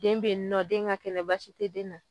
Den bɛ yen nɔ den ka kɛnɛ baasi tɛ den na.